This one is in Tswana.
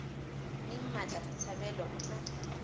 mme mmatla botshabelo o tla